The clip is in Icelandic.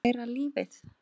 Læra lífið.